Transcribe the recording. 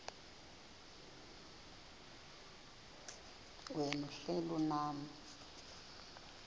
wena uhlel unam